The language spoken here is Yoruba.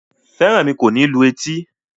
Feranmi kò ní lù etí